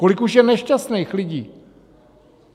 Kolik už je nešťastných lidí?